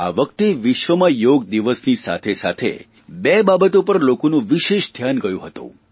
આ વખતે વિશ્વમાં યોગદિવસની સાથેસાથે બે બાબતો પર લોકોનું ધ્યાન ગયું હતું